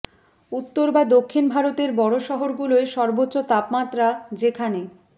উত্তর বা দক্ষিণ ভারতের বড় শহরগুলোয় সর্বোচ্চ তাপমাত্রা যেখানে